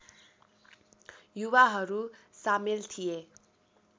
युवाहरू सामेल थिए